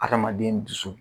Adamaden dusu